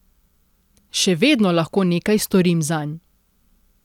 Še vedno lahko nekaj storim zanj.